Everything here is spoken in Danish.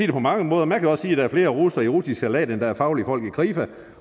det på mange måder man kan også sige at der er flere russere i russisk salat end der er faglige folk i krifa